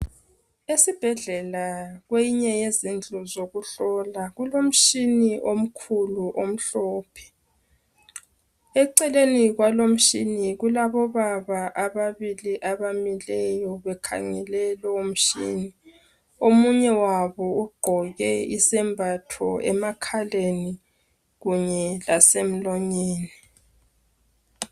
Esibhedlela kweyinye yezindlu zokuhlola kulo mtshini omkhulu omhlophe .Eceleni kwalo mtshini kulabobaba ababili abamileyo bekhangele lowu mtshini .Omunye wabo ugqoke isembatho emakhaleni kunye lasemlonyeni .